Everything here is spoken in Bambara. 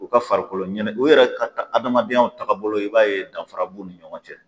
o ka farikoloɲɛnɛ u yɛrɛ ka ka adamadenyaw taga bolo i b'a ye danfara b'u ni ɲɔgɔn cɛ